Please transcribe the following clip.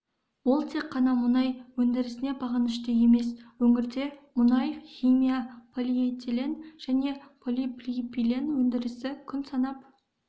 ол тек қана мұнай өндірісіне бағынышты емес өңірде мұнай-химия полиэтилен және полипропилен өндірісі күн санап